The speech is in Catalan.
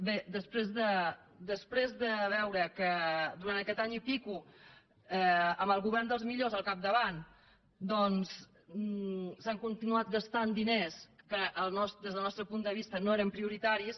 bé després de veure que durant aquest any i escaig amb el govern dels millors al capdavant doncs s’han continuat gastant diners que des del nostre punt de vista no eren prioritaris